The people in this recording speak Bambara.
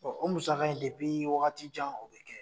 Ɔ o musaka in wagati jan o be kɛ.